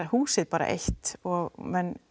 húsið bara eitt og